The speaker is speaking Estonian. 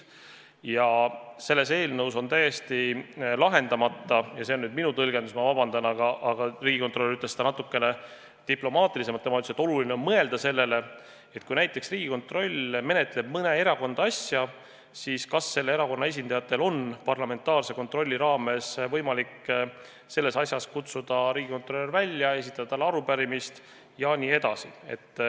Ja selles eelnõus on täiesti lahendamata – vabandust, see on nüüd minu tõlgendus, riigikontrolör ütles seda natukene diplomaatilisemalt –, küsimus, et kui näiteks Riigikontroll menetleb mõne erakonna asja, siis kas selle erakonna esindajatel on parlamentaarse kontrolli raames võimalik selles asjas kutsuda riigikontrolör välja, esitada talle arupärimist ja nii edasi.